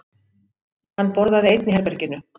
Hann borðaði einn í herberginu.